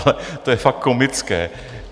Ale to je fakt komické.